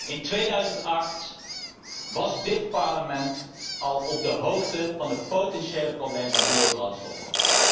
In 2008 was dit Parlement al op de hoogte van de potentiële problemen van biobrandstoffen.